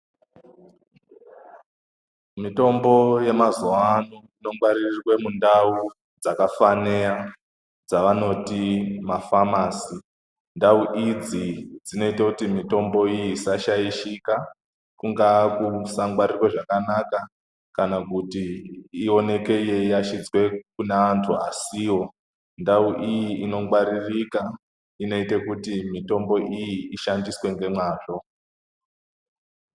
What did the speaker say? Mitombo yemazuwa ano inongwaririrwe mundau dzakafaneya dzavanoti mafamasi. Ndau idzi dzinoito kuti mitombo iyi isashaishika, kungaa kusangwaririrwe zvakanaka kana kuti ioneke yeiyashidzwe kuna antu asiwo. Ndau iyi inongwaririka, inoite kuti mitombo iyi ishandiswe ngemwazvo.